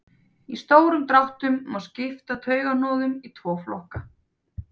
í stórum dráttum má skipta taugahnoðum í tvo flokka